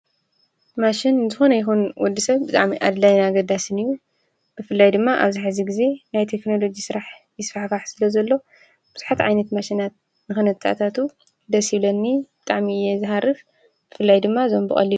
ማሽን ንዝኮነ ይኩን ወድሰብ ብጣዕሚ አድላይን አገዳሲን እዩ፡፡ ብፍላይ ድማ አብዚ ሕዚ ግዜ ናይ ቴክኖሎጂ ስራሕቲ ይስፋሕፋሕ ስለዘሎ ብዙሓት ዓይነታት ማሽናት ንክነታአታቱ ብጣዕሚ ደስ ይብለኒ፡፡ ብጣዕሚ እየ ዝሃርፍ ብፍላይ ድማ እዞም ብቀሊሉ...